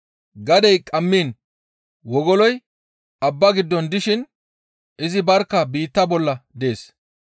Gadey qammiin wogoloy abbaa giddon dishin izi barkka biitta bolla dees.